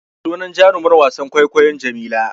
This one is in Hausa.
Sunan jarumar wasan kwaikwayon Jamila.